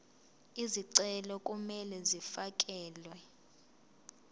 izicelo kumele zifakelwe